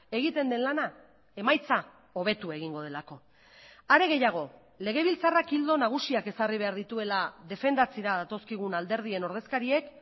egiten den lana emaitza hobetu egingo delako are gehiago legebiltzarrak ildo nagusiak ezarri behar dituela defendatzera datozkigun alderdien ordezkariek